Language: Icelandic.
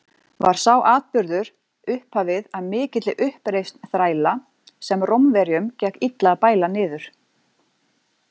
Var sá atburður upphafið að mikilli uppreisn þræla, sem Rómverjum gekk illa að bæla niður.